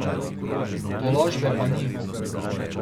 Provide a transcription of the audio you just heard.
Tolažbe pa ni.